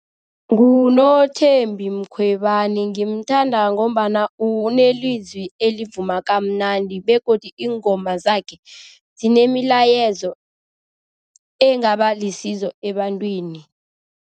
NguNothembi Mkhwebani. Ngimthanda ngombana unelizwi elivuma kamnandi begodu iingoma zakhe zinemilayezo engaba lisizo ebantwini.